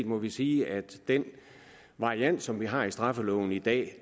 må vi sige at den variant som vi har i straffeloven i dag